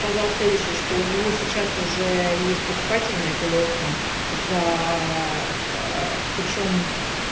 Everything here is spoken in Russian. сказал следующее что у него сейчас уже есть покупатель на эту лодку за причём